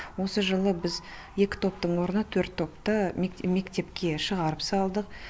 осы жылы біз екі топтың орнына төрт топты мектеп мектепке шығарып салдық